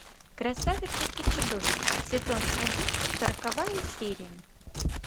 красавица и чудовище сезон один сороковая серия